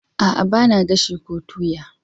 A'a, ba na gashi ko toya?